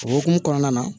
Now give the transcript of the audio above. O hukumu kɔnɔna na